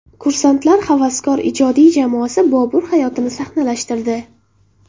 Kursantlar havaskor ijodiy jamoasi Bobur hayotini sahnalashtirdi.